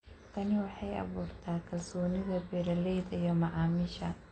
Tani waxay abuurtaa kalsoonida beeralayda iyo macaamiisha.